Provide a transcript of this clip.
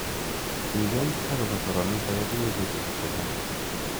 Kiken akobo soromiet ake koibei betushek chechang.